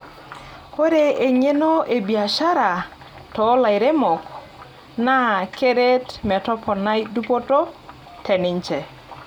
Ore engeno e biashara toolairemok naa keret metoponai dupoto teninje.